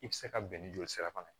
I bɛ se ka bɛn ni joli sira fana ye